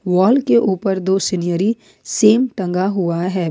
Wall के ऊपर दो सिन्हरी सेम टंगा हुआ हैं।